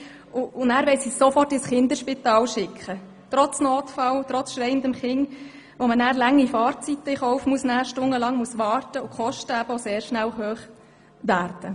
Trotz Notfall und trotz schreiendem Kind wollen sie es dann sofort ins Kinderspital schicken, wofür man noch lange Fahrzeiten in Kauf nehmen muss, stundenlanges Warten und wodurch es sehr schnell teuer wird.